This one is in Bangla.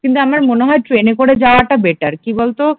কিন্তু আমার মনে হয় ট্রেনে করে যাওয়াটা বেটার কি বলতো